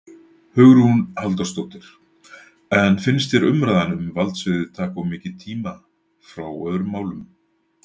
Hugrún Halldórsdóttir: En finnst þér umræðan um valdsviðið taka of mikið tíma frá öðrum málum?